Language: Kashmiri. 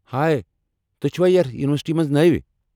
ہاے ، تُہۍ چھِوا یتھ یونیورسٹی منٛز نٔوۍ ؟